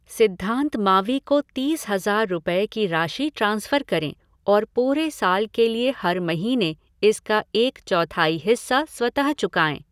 सिद्धांत मावी को तीस हज़ार रुपये की राशि ट्रांसफ़र करें और पूरे साल के लिए हर महीने इसका एक चौथाई हिस्सा स्वतः चुकाएं।